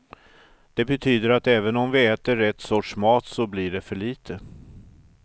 Det betyder att även om vi äter rätt sorts mat så blir det för lite.